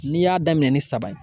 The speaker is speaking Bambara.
N'i y'a daminɛ ni saba ye